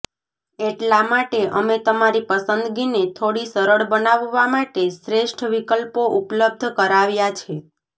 એટલા માટે અમે તમારી પસંદગીને થોડી સરળ બનાવવા માટે શ્રેષ્ઠ વિકલ્પો ઉપલબ્ધ કરાવ્યા છે